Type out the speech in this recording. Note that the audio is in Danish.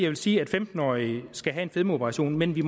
vil sige at femten årige skal kunne få en fedmeoperation men vi